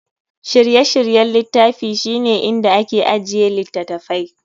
Shirye-shiryen littafi shine inda ake ajiye littattafai.